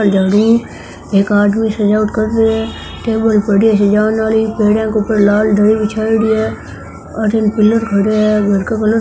ये जगह एक आदमी सजावट कर रहे है टेबल पड़ी है सजावन आली --